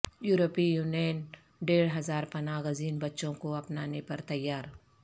یورپی یونین ڈیڑھ ہزار پناہ گزین بچوں کو اپنانے پر تیار